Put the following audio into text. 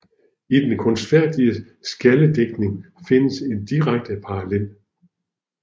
I den kunstfærdige skjaldedigtning findes en direkte parallel